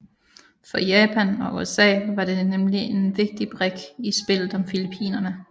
For Japan og USA var det nemlig en vigtig brik i spillet om Filippinerne